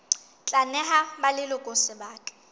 tla neha ba leloko sebaka